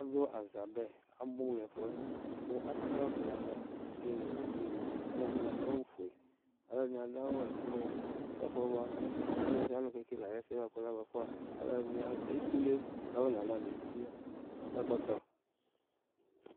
Aɖu aza bɛ, abu nɛfuɛ ku atɛ alɔ ɖu nalɛ, ɔsɩ nu uluvɩ nɩ Alu ɛɖɩnɩ aɖu awu foe, alu ɛɖɩnɩ aɖu ɛblu Ɛfu wa Ɔlu sɩa ɔlu kekele ɛɖɩ yɛ kabuɛ f Alu ɛɖɩnɩ etule kafɔ nala nu eti yɛ ɛkɔtɔ